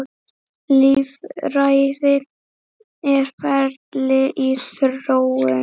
Lýðræði er ferli í þróun.